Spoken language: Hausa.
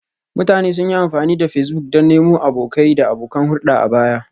Mutane sun yi amfani da Facebook don nemo abokai da abokan hulɗa a baya